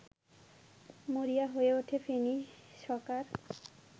মরিয়া হয়ে ওঠে ফেনী সকার